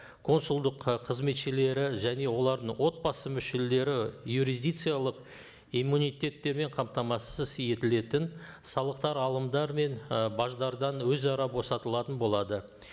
консулдық ы қызметшілері және олардың отбасы мүшелері юрисдикциялық иммунитеттермен қамтамасыз етілетін салықтар алымдар мен і баждардан өзара босатылатын болады